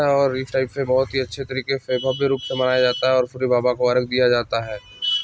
--और इस टाइप से बहुत ही अच्छे तरीके से भव्य रूप से मनाया जाता है और सूर्य बाबा को अर्ग दिया जाता है।